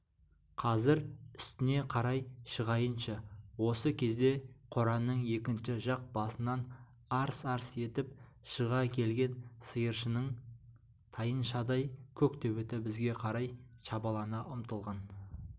қазір үстіне қарай шығайыншы осы кезде қораның екінші жақ басынан арс-арс етіп шыға келген сиыршының тайыншадай көк төбеті бізге қарай шабалана ұмтылған